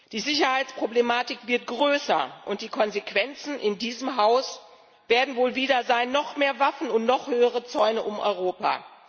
Die Sicherheitsproblematik wird größer, und die Konsequenzen in diesem Haus werden wohl wieder sein noch mehr Waffen und noch höhere Zäune um Europa.